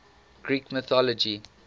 greek mythology